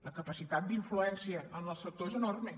la capacitat d’influència en el sector és enorme